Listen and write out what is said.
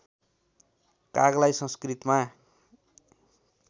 कागलाई संस्कृतमा